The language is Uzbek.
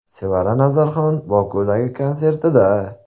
Sevara Nazarxon Bokudagi konsertida.